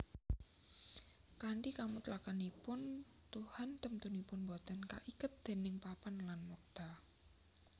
Kanthi kemutlakanipun tuhan temtunipun boten kaiket déning papan lan wekdal